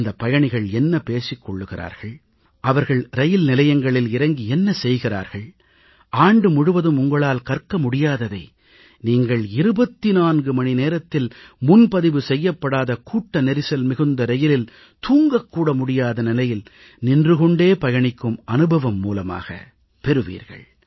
அந்தப் பயணிகள் என்ன பேசிக் கொள்கிறார்கள் அவர்கள் ரயில் நிலையங்களில் இறங்கி என்ன செய்கிறார்கள் ஆண்டு முழுவதும் உங்களால் கற்க முடியாததை நீங்கள் 24 மணி நேரத்தில் முன்பதிவு செய்யப்படாத கூட்ட நெரிசல் மிகுந்த ரயிலில் தூங்கக் கூட முடியாத நிலையில் நின்று கொண்டே பயணிக்கும் அனுபவம் மூலமாக நீங்கள் பெறுவீர்கள்